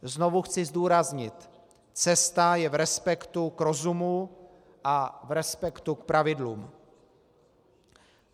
Znovu chci zdůraznit: cesta je v respektu k rozumu a v respektu k pravidlům.